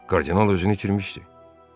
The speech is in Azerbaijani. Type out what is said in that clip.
Kardinal özünü itirmişdi.